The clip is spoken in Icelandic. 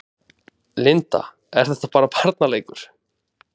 Linda: Er þetta bara barnaleikur?